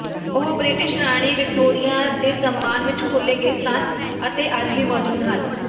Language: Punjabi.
ਉਹ ਬ੍ਰਿਟਿਸ਼ ਰਾਣੀ ਵਿਕਟੋਰੀਆ ਦੇ ਸਨਮਾਨ ਵਿਚ ਖੋਲ੍ਹੇ ਗਏ ਸਨ ਅਤੇ ਅੱਜ ਵੀ ਮੌਜੂਦ ਹਨ